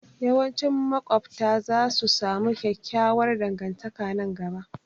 Yawancin maƙwabta za su samu kyakkyawar dangantaka nan gaba